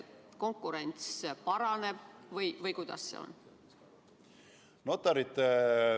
Kas konkurents paraneb või kuidas sellega on?